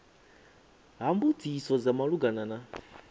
ha mbudziso dza malugana na